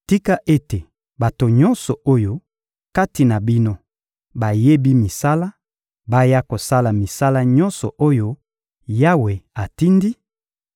Tika ete bato nyonso oyo kati na bino bayebi misala, baya kosala misala nyonso oyo Yawe atindi: